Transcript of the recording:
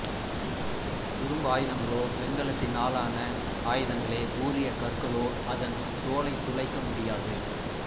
இரும்பாயுதங்களோ வெண்கலத்தினாலான ஆயுதங்களே கூரிய கற்களோ அதன் தோலைத் துளைக்க முடியாது